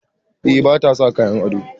Eh, ba ta sa kayan ado.